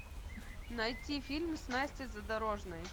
найти фильм с настей задорожной